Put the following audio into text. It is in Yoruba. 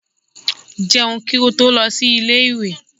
Jẹun kí ó tó lọ sí ilé ìwé!